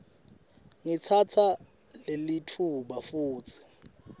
ngitsatsa lelitfuba futsi